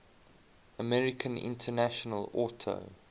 american international auto